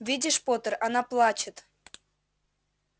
видишь поттер она плачет